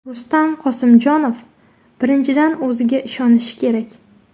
Rustam Qosimjonov: Birinchidan, o‘ziga ishonishi kerak.